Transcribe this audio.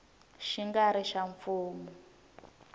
xi nga ri xa mfumo